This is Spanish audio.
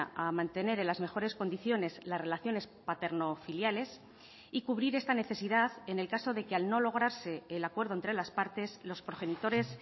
a mantener en las mejores condiciones las relaciones paterno filiales y cubrir esta necesidad en el caso de que al no lograrse el acuerdo entre las partes los progenitores